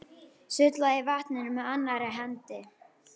Sullaði í vatninu með annarri hendi.